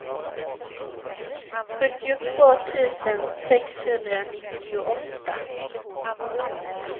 sjuttiotvå tusen sexhundranittioåtta